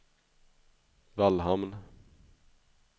Vallhamn